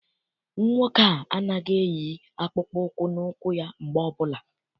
Nwoke a anaghị eyi akpụkpọ ụkwụ na ụkwụ ya mgbe ọbụla.